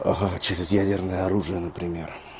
ага через ядерное оружие например